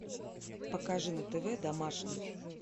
покажи на тв домашний